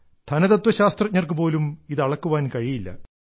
ധനതത്വ ശാസ്ത്രജ്ഞർക്കു പോലും ഇത് അളക്കുവാൻ കഴിയില്ല